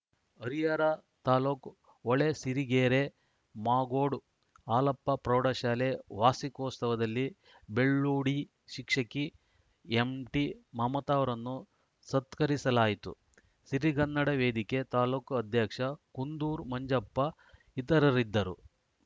ಹರಿಹರ ತಾಲೂಕು ಹೊಳೆಸಿರಿಗೆರೆ ಮಾಗೋಡು ಹಾಲಪ್ಪ ಪ್ರೌಢಶಾಲೆ ವಾರ್ಷಿಕೋತ್ಸವದಲ್ಲಿ ಬೆಳ್ಳೂಡಿ ಶಿಕ್ಷಕಿ ಎಂಟಿಮಮತರನ್ನು ಸತ್ಕರಿಸಲಾಯಿತು ಸಿರಿಗನ್ನಡ ವೇದಿಕೆ ತಾಲೂಕು ಅಧ್ಯಕ್ಷ ಕುಂದೂರು ಮಂಜಪ್ಪ ಇತರರಿದ್ದರು